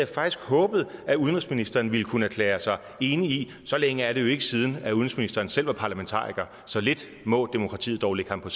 faktisk håbet at udenrigsministeren ville kunne erklære sig enig i så længe er det jo ikke siden at udenrigsministeren selv var parlamentariker så lidt må demokratiet dog ligge ham på